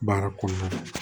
Baara kɔnɔna na